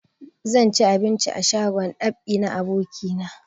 Zan ci abinci a shagon dab'i na abokina